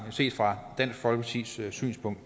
set fra dansk folkepartis synspunkt